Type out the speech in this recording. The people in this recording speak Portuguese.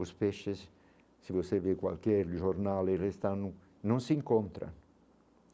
Os peixes, se você vê qualquer jornal, eles estão não se encontram.